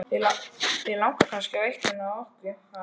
Þig langar kannski í einhvern af okkur, ha?